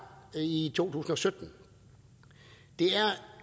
i to tusind og sytten det er